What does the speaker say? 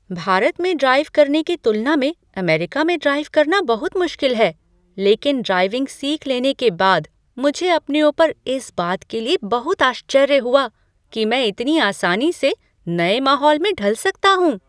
भारत में ड्राइव करने की तुलना में अमेरिका में ड्राइव करना बहुत मुश्किल है, लेकिन ड्राइविंग सीख लेने के बाद मुझे अपने ऊपर इस बात के लिए बहुत आश्चर्य हुआ कि मैं इतनी आसानी से नए माहौल में ढल सकता हूँ!